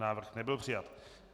Návrh nebyl přijat.